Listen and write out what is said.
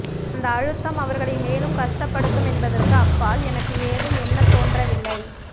அந்த அழுத்தம் அவர்களை மேலும் கஷ்டப்படுத்தும் என்பதற்கு அப்பால் எனக்கு ஏதும் எண்ணத்தோன்றவில்லை